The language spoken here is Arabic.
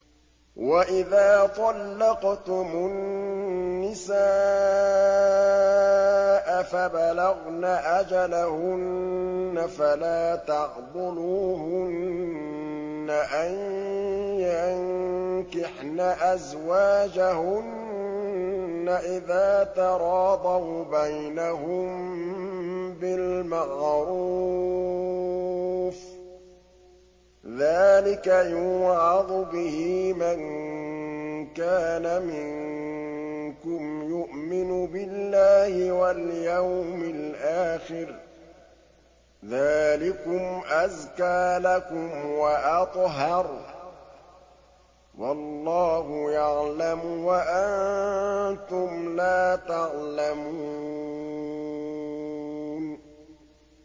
وَإِذَا طَلَّقْتُمُ النِّسَاءَ فَبَلَغْنَ أَجَلَهُنَّ فَلَا تَعْضُلُوهُنَّ أَن يَنكِحْنَ أَزْوَاجَهُنَّ إِذَا تَرَاضَوْا بَيْنَهُم بِالْمَعْرُوفِ ۗ ذَٰلِكَ يُوعَظُ بِهِ مَن كَانَ مِنكُمْ يُؤْمِنُ بِاللَّهِ وَالْيَوْمِ الْآخِرِ ۗ ذَٰلِكُمْ أَزْكَىٰ لَكُمْ وَأَطْهَرُ ۗ وَاللَّهُ يَعْلَمُ وَأَنتُمْ لَا تَعْلَمُونَ